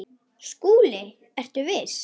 SKÚLI: Ertu viss?